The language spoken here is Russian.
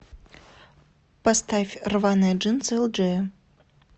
поставь рваные джинсы элджея